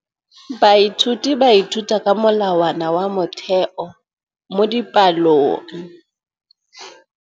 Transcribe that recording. Baithuti ba ithuta ka molawana wa motheo mo dipalong.